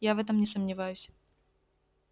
я в этом не сомневаюсь